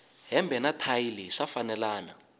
hembe na thayi leyi swa fambelana